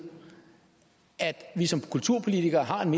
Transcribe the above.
at vi som kulturpolitikere har en